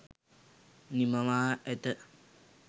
නිමවා ඇත